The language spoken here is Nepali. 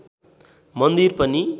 मन्दिर पनि